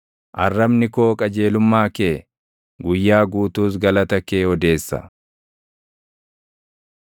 Arrabni koo qajeelummaa kee, guyyaa guutuus galata kee odeessa.